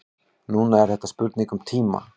Núna er þetta spurning um tíma.